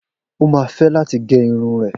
O máa fẹ́ láti gé irun rẹ̀.